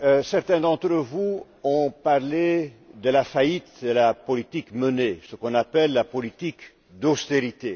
Certains d'entre vous ont parlé de la faillite de la politique menée ce qu'on appelle la politique d'austérité.